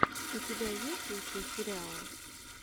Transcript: у тебя есть лучшие сериалы